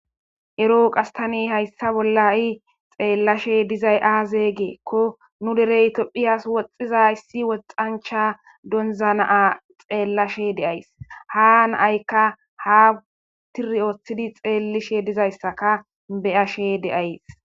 ero qasvtani hayssa bollai xeellashe dizay aaze geekko nu derey topphiyas woxxiza issi woxxancha donza na'a xeellashe de'ays ha naayka ha tir ooththidi xeellishe dizayssaka be'ashe de'ays